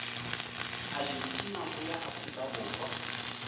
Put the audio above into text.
argentina ho ya afrika borwa